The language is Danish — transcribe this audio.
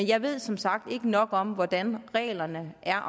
jeg ved som sagt ikke nok om hvordan reglerne er